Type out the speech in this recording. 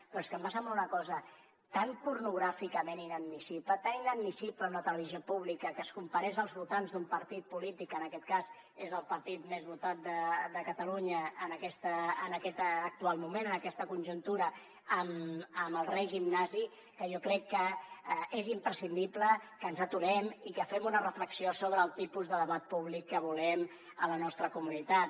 però és que em va semblar una cosa tan pornogràficament inadmissible tan inadmissible en una televisió pública que es comparés els votants d’un partit polític que en aquest cas és el partit més votat de catalunya en aquest actual moment en aquesta conjuntura amb el règim nazi que jo crec que és imprescindible que ens aturem i que fem una reflexió sobre el tipus de debat públic que volem a la nostra comunitat